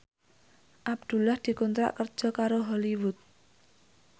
Abdullah dikontrak kerja karo Hollywood